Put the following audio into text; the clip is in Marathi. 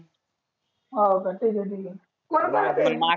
हाव का ठिक आहे ठिक आहे. कोण कोण येत आहे?